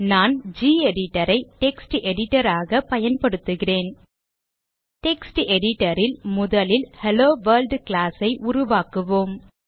நான் gedit ஐ text editor ஆக பயன்படுத்துகிறேன் டெக்ஸ்ட் editor ல் முதலில் ஹெல்லோவொர்ல்ட் class ஐ உருவாக்குவோம்